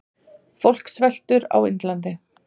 Fólk sveltur á Indlandi.